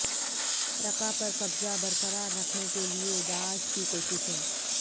Raqqa پر قبضہ برقرار رکھنے کے لیے داعش کی کوششیں